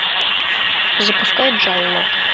запускай джалло